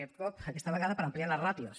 aquest cop aquesta vegada per ampliar les ràtios